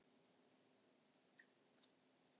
En þetta var ekki allt.